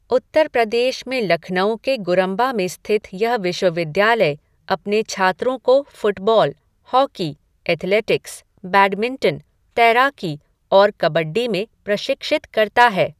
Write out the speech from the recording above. उत्तर प्रदेश में लखनऊ के गुरंबा में स्थित यह विश्वविद्यालय अपने छात्रों को फ़ुटबॉल, हॉकी, एथलेटिक्स, बैडमिंटन, तैराकी और कबड्डी में प्रशिक्षित करता है।